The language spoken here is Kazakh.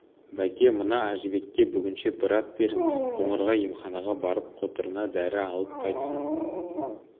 бәке мына әжібекке бүгінше бір ат беріңіз қоңырға емханаға барып қотырына дәрі алып қайтсын